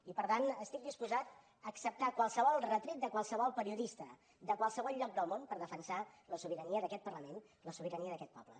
i per tant estic disposat a acceptar qualsevol retret de qualsevol periodista de qualsevol lloc del món per defensar la sobirania d’aquest parlament la sobirania d’aquest poble